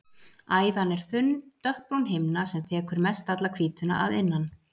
Æðan er þunn, dökkbrún himna sem þekur mestalla hvítuna að innan.